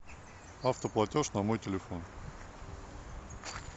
автоплатеж на мой телефон